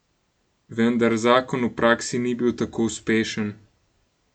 Vendar zakon v praksi ni bil tako uspešen.